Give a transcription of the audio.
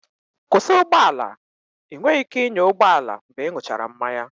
Kwụsị ụgbọ ala! Ị nweghị ike ịnya ụgbọ ala mgbe ịṅụchara mmanya